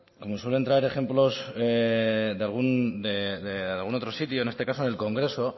cuando suelen traer ejemplos de algún otro sitio en este caso del congreso